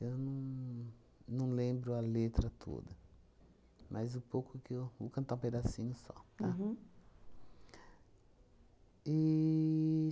Eu não não lembro a letra toda, mas o pouco que eu... Vou cantar um pedacinho só, tá? Uhum.